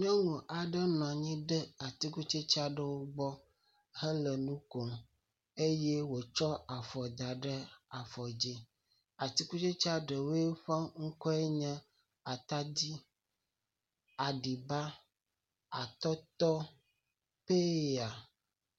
Nyɔnu aɖe nɔanyi ɖe atikutsetse aɖewo gbɔ hele nukom eye wotsɔ afɔ da ɖe afɔ dzi, atikutsetsea ɖewo ƒe ŋkɔwoe nye atadi, aɖiba, atɔtɔ, peya,